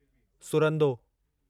सुरंदो